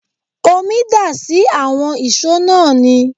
Omi dà sí àwọn ìṣó náà ni